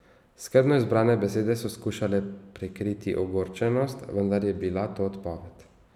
Skrbno izbrane besede so skušale prikriti ogorčenost, vendar je bila to odpoved.